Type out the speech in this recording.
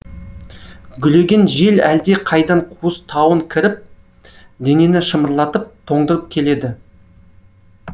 гулеген жел әлде қайдан қуыс тауын кіріп денені шымырлатып тоңдырып келеді